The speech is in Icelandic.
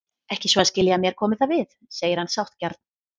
Ekki svo að skilja að mér komi það við, segir hann sáttgjarn.